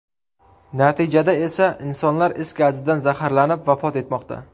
Natijada esa insonlar is gazidan zaharlanib vafot etmoqda.